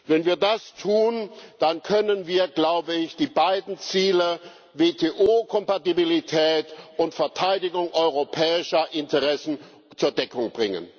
Wenn wir das tun, dann können wir die beiden Ziele, WTO Kompatibilität und Verteidigung europäischer Interessen, zur Deckung bringen.